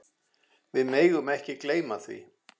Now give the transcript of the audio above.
Við megum ekki gleyma því.